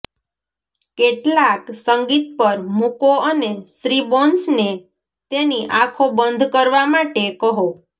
કેટલાક સંગીત પર મૂકો અને શ્રી બોન્સને તેની આંખો બંધ કરવા માટે કહો